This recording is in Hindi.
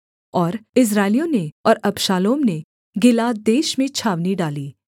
और इस्राएलियों ने और अबशालोम ने गिलाद देश में छावनी डाली